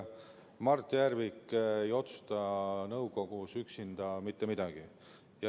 Mart Järvik ei otsusta nõukogus üksinda mitte midagi.